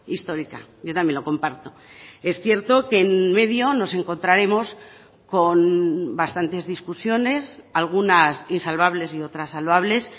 histórica yo también lo comparto es cierto que en medio nos encontraremos con bastantes discusiones algunas insalvables y otras salvables